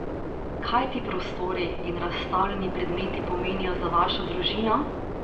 Kaj ti prostori in razstavljeni predmeti pomenijo za vašo družino?